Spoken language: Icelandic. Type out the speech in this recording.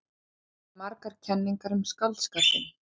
Til eru margar kenningar um skáldskapinn.